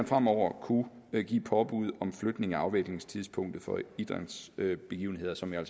fremover kunne give påbud om flytning af afviklingstidspunktet for idrætsbegivenheder som jo